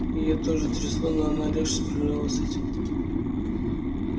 её тоже трясло но она легче справлялась с этим